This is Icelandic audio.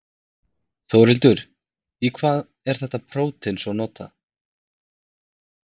Þórhildur, í hvað er þetta prótein svo notað?